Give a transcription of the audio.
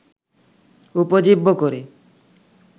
উপজীব্য করে